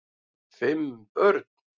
Fimm börn